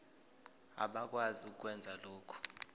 abakwazi ukwenza lokhu